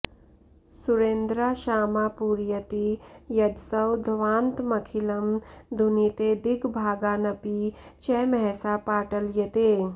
सुरेन्द्राशामापूरयति यदसौ ध्वान्तमखिलं धुनीते दिग्भागानपि च महसा पाटलयते